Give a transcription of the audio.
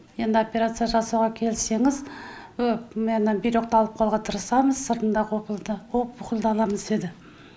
енді операция жасауға келіссеңіз міне бүйректі алып қалуға тырысамыз сыртындағы опухольді аламыз деді